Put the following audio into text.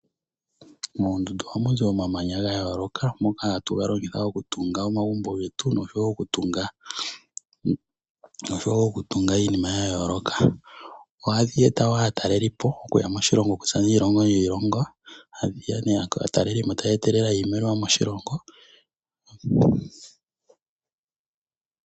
Moondundu ohamu zi omamanya ga yooloka moka hatu ga longitha okutunga omagumbo getu noshowo okutunga iinima ya yooloka. Ohadhi eta woo aatalelipo okuya moshilongo okuza kiilongo niilongo, aatalelipo taye etelele iimaliwa moshilongo.